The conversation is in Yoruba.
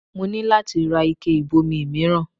Mo ní láti ra ike ìbomi mìíràn